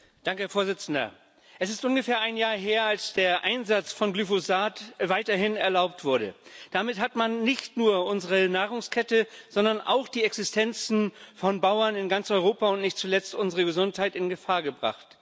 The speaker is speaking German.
Herr Präsident! Es ist ungefähr ein Jahr her, dass der Einsatz von Glyphosat weiterhin erlaubt wurde. Damit hat man nicht nur unsere Nahrungskette, sondern auch die Existenzen von Bauern in ganz Europa und nicht zuletzt unsere Gesundheit in Gefahr gebracht.